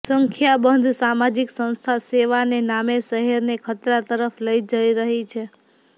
સંખ્યાબંધ સામાજિક સંસ્થા સેવાને નામે શહેરને ખતરા તરફ લઇ જઇ રહી છે